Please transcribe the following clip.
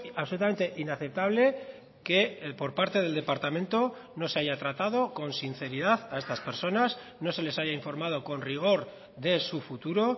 absolutamente inaceptable que por parte del departamento no se haya tratado con sinceridad a estas personas no se les haya informado con rigor de su futuro